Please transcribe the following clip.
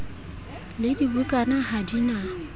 le dibukana ha di na